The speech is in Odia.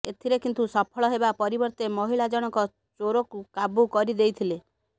ଏଥିରେ କିନ୍ତୁ ସଫଳ ହେବା ପରିବର୍ତ୍ତେ ମହିଳା ଜଣକ ଚୋରକୁ କାବୁ କରିଦେଇଥିଲେ